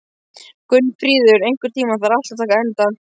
Gunnfríður, einhvern tímann þarf allt að taka enda.